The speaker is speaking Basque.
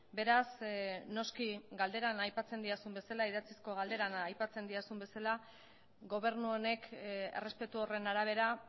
beraz noski galderan aipatzen didazun bezala idatzizko galdera da aipatzen didazun bezala gobernu honek errespetu horren arabera